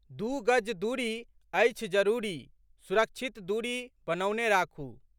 दू गज दूरी, अछि जरूरी, सुरक्षित दूरी बनौने राखू